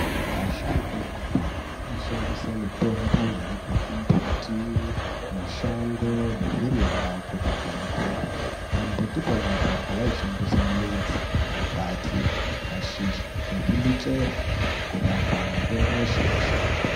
Asharukwa ekudhaya aishandisa mitombo yaibva kumbiti, mashango nezvirimwa kurapa matenda. Pambuti pona apapo vaishandisa midzi, makwati, mashizha nezvimichero kurapa matenda eshe-eshe.